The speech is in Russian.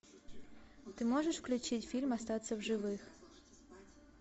ты можешь включить фильм остаться в живых